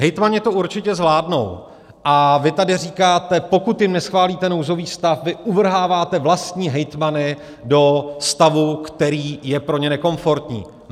Hejtmani to určitě zvládnou, a vy tady říkáte, pokud jim neschválíte nouzový stav, vy uvrháváte vlastní hejtmany do stavu, který je pro ně nekomfortní.